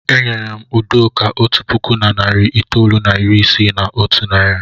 E nyere m Udoka otu puku na narị itoolu na iri isii na otu naira.